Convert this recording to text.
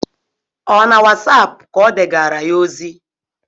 Ọ na wasapụ ka o degara ya ozi?